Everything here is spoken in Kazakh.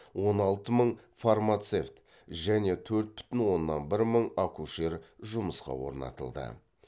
он алты мың фармацевт және төрт бүтін оннан бір мың акушер жұмысқа орнатылды